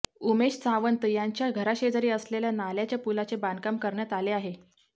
उमेश सावंत यांच्या घराशेजारी असलेल्या नाल्याच्या पुलाचे बांधकाम करण्यात आले आहे